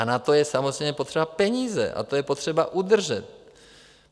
A na to je samozřejmě potřeba peníze a to je potřeba udržet.